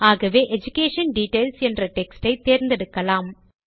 ஆகவே education details என்ற text ஐ தேர்ந்தெடுக்கலாம்